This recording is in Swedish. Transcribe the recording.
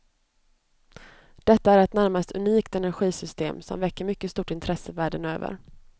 Detta är ett närmast unikt energisystem, som väcker mycket stort intresse världen över.